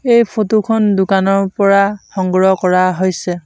এই ফটো খন দোকানৰ পৰা সংগ্ৰহ কৰা হৈছে।